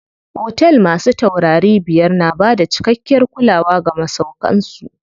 Otel masu taurari biyar na bada cikakkiyar kulawa ga masauƙan su.